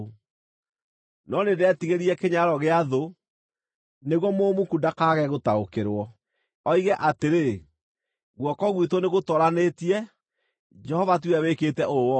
no nĩndetigĩrire kĩnyararo gĩa thũ, nĩguo mũmuku ndakaage gũtaũkĩrwo, oige atĩrĩ, ‘Guoko gwitũ nĩgũtooranĩtie; Jehova tiwe wĩkĩte ũũ wothe.’ ”